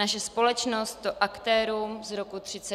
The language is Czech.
Naše společnost to aktérům z roku 1939 dluží.